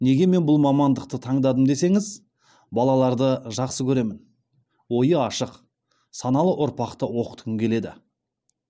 неге мен бұл мамандықты таңдадым десеңіз балаларды жақсы көремін ойы ашық саналы ұрпақты оқытқым келеді